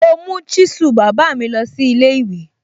Mo mú chisel bàbá mi lọ sí ilé ìwé.